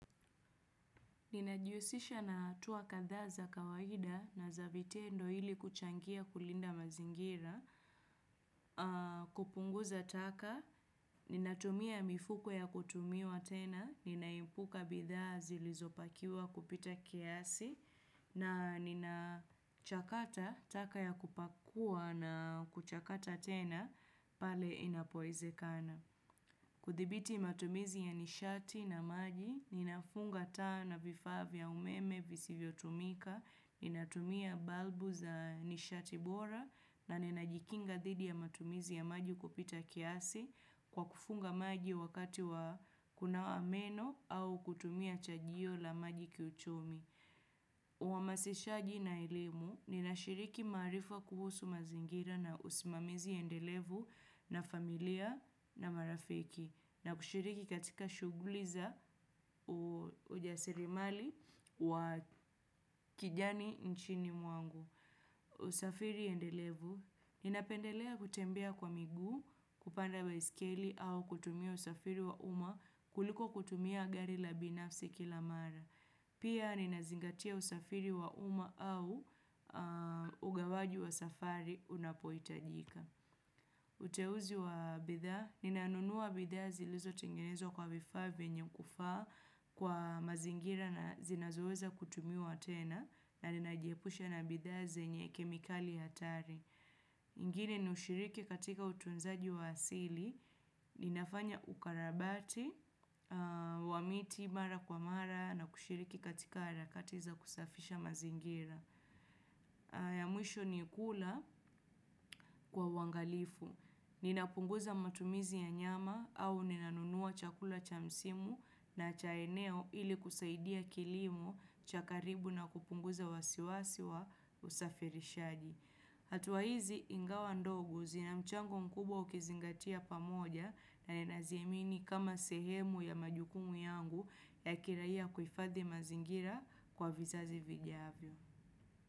Ninajihusisha na tuwa kadha za kawaida na za vitendo hili kuchangia kulinda mazingira, kupunguza taka, ninatumia mifuko ya kutumiwa tena, ninaipuka bidha zilizopakiwa kupita kiasi, na nina chakata taka ya kupakua na kuchakata tena pale inapoezekana. Kuthibiti matumizi ya nishati na maji, ninafunga taa na vifaa vya umeme visivyo tumika, ninatumia balbu za nishati bora na ninajikinga didi ya matumizi ya maji kupita kiasi kwa kufunga maji wakati wa kunawa meno au kutumia chajio la maji kiuchumi. Uwamasishaji na elimu, nina shiriki marifa kuhusu mazingira na usimamizi yendelevu na familia na marafiki na kushiriki katika shuguliza ujasirimali wa kijani nchini mwangu. Usafiri yendelevu, ninapendelea kutembea kwa miguu, kupanda baiskeli au kutumia usafiri wa uma kuliko kutumia gari labinafsi kila mara. Pia ninazingatia usafiri wa uma au ugawaji wa safari unapoitajika. Uteuzi wa bidha, ninaanunua bidha zilizo tengenezwa kwa vifaa vyenye kufaa kwa mazingira na zinazoweza kutumiwa tena na ninajiepusha na bidha zenye kemikali hatari. Ngini ushiriki katika utunzaji wa asili, ninafanya ukarabati, wamiti mara kwa mara na kushiriki katika harakati za kusafisha mazingira. Ya mwisho ni kula kwa uwangalifu. Ninapunguza matumizi ya nyama au ninanunua chakula chamsimu na cha eneo ili kusaidia kilimo chakaribu na kupunguza wasiwasi wa usafirishaji. Hatua hizi ingawa ndogo zina mchango mkubwa ukizingatia pamoja na naziemini kama sehemu ya majukumu yangu ya kiraiya kuifadhi mazingira kwa vizazi vijavyo.